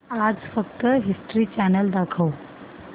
आज फक्त History Channel दाखव